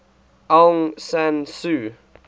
aung san suu